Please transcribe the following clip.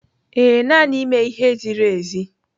Ee, naanị mee ihe ziri ezi.